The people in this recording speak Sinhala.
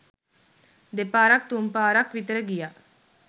දෙපාරක් තුන්පාරක් විතර ගියා..